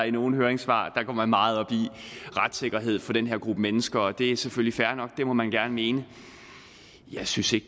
i nogle høringssvar går meget op i retssikkerheden for den her gruppe mennesker og det er selvfølgelig fair nok det må man gerne mene jeg synes ikke